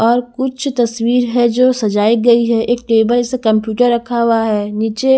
और कुछ तस्वीर है जो सजाई गई है एक टेबल से कंप्यूटर रखा हुआ है नीचे--